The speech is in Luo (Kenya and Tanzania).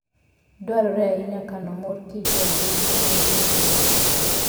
Dwarore ahinya kano mor kich e agulu ma olor maber.